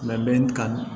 Labɛn ka